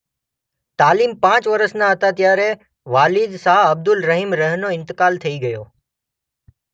તાલીમ પાંચ વરસના હતા ત્યારે વાલિદ શાહ અબ્દુર્રહીમ રહ.નો ઇન્તેકાલ થઈ ગયો.